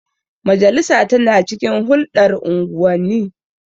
Majalisa tana cikin hulɗar unguwanni.